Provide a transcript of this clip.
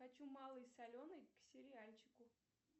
хочу малый соленый к сериальчику